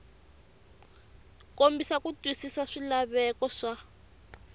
kombisa ku twisisa swilaveko swa